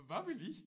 Hvad vil I?